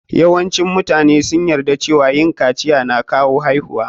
Yawancin mutane sun yarda cewa yin kaciya na kawo haihuwa.